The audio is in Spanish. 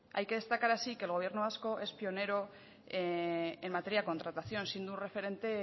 hay que destacar así que el gobierno vasco es pionero en materia de contratación siendo un referente